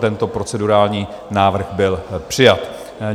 Tento procedurální návrh byl přijat.